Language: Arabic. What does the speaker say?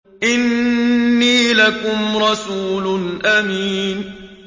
إِنِّي لَكُمْ رَسُولٌ أَمِينٌ